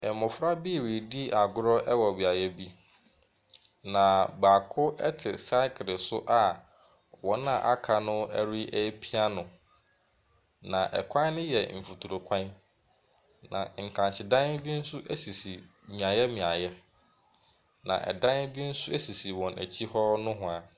Mmofra bi redi agorɔ wɔ baabi. Na baako te sakle so a wɔn a aka no repia no. Na ɛkwan no yɛ mfutrokwan. Na nkrakyedan bi nso sisi mmeaeɛ mmeaeɛ. Na dan bi nso sisi wɔn akyi hɔ nohwaa.